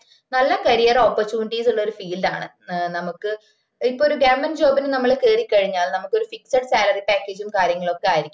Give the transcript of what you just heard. നല്ല career opportunity ഉള്ള field ആണ് നമക്ക് ഇപ്പം ഒര് ഗവണ്മെന്റ് job ന് നമ്മള് കേറി കഴിഞ്ഞ നമക്ക് ഒര് fixed salary package ഉം കാര്യങ്ങളൊക്കെ ആയിരിക്കും